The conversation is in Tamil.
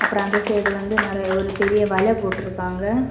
அப்புறம் அந்த சைடு வந்து நறைய ஒரு பெரிய வலை போட்டு இருக்காங்க.